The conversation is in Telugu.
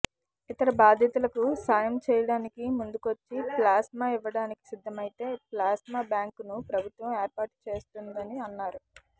ఇతర బాధితులకు సాయం చేయడానికి ముందుకొచ్చి ప్లాస్మా ఇవ్వడానికి సిద్ధమైతే ప్లాస్మా బ్యాంకును ప్రభుత్వం ఏర్పాటుచేస్తుందని అన్నారు